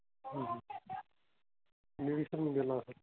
मी विसरून गेलो आता.